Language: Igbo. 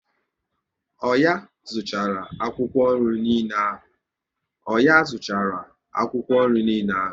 Ọnyá zuchara akwụkwọ nri niile ahụ?